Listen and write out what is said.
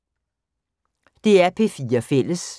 DR P4 Fælles